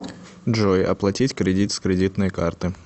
джой оплатить кредит с кредитной карты